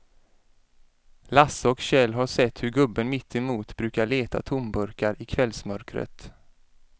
Lasse och Kjell har sett hur gubben mittemot brukar leta tomburkar i kvällsmörkret.